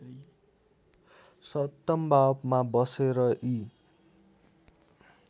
सप्तमभावमा बसेर यी